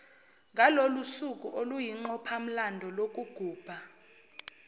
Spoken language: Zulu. ngalolusuku oluyinqophamlando lokugubha